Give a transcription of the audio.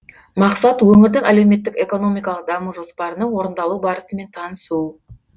мақсат өңірдің әлеуметтік экономикалық даму жоспарының орындалу барысымен танысу